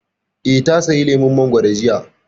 Eh, ta saya lemun mangoro jiya